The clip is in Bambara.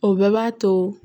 O bɛɛ b'a to